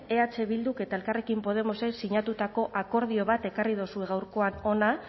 eh bilduk eta elkarrekin podemosek sinatutako akordio bat ekarri dozue gaurkoan hona